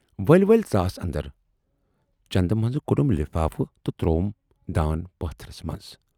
" ؤلۍ ؤلۍ ژاس اندر، چندٕ منٛزٕ کوڈُم لِفافہٕ تہٕ ترووُم دان پاتھرس منز۔